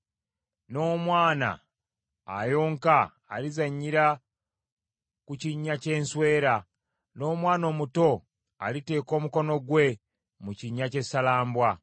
N’omwana ayonka alizannyira ku kinnya ky’enswera, n’omwana omuto aliteeka omukono gwe mu kinnya ky’essalambwa.